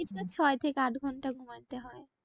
ছয় থেকে আট ঘন্টা ঘুমাতে হয়।